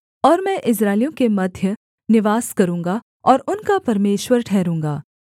और मैं इस्राएलियों के मध्य निवास करूँगा और उनका परमेश्वर ठहरूँगा